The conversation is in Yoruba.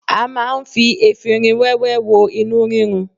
A ma ń fi efinrin wẹ́wẹ́ wo inú rírun.